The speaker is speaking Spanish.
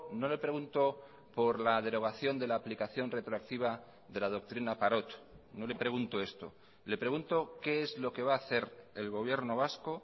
no le pregunto por la derogación de la aplicación retroactiva de la doctrina parot no le pregunto esto le pregunto qué es lo que va a hacer el gobierno vasco